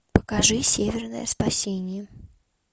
покажи северное спасение